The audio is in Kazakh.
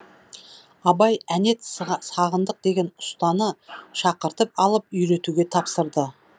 абай әнет сағындық деген ұстаны шақыртып алып үйретуге тапсырады